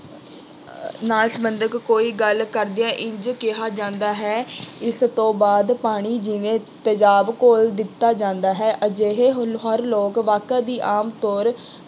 ਨਾਲ ਸੰਬੰਧਿਤ ਕੋਈ ਗੱਲ ਕਰਦਿਆਂ ਇੰਝ ਕਿਹਾ ਜਾਂਦਾ ਹੇ। ਇਸ ਤੋਂ ਬਾਅਦ ਪਾਣੀ ਜਿਵੇਂ ਤੇਜ਼ਾਬ ਘੋਲ ਦਿੱਤਾ ਜਾਂਦਾ ਹੈ। ਅਜਿਹੇ ਹੋਣਹਾਰ ਲੋਕ ਵਾਕਾਂ ਦੀ ਆਮਤੌਰ